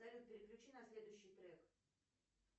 салют переключи на следующий трек